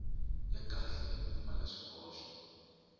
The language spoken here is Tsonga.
ya kahle yo pfumala swihoxo